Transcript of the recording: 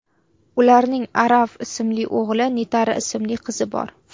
Ularning Aarav ismli o‘g‘li, Nitara ismli qizi bor.